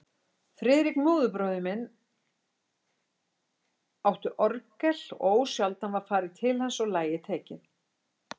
Friðrik, móðurbróðir minn, átti orgel og ósjaldan var farið til hans og lagið tekið.